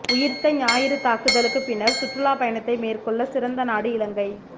உயிர்த்த ஞாயிறு தாக்குதலுக்கு பின்னர் சுற்றுலா பயணத்தை மேற்கொள்ள சிறந்த நாடு இலங்கை